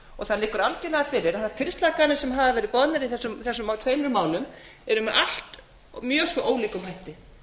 það liggur algjörlega fyrir að þær tilslakanir sem hafa verið boðnar í þessum tveimur málum eru með allt mjög svo ólíkum hætti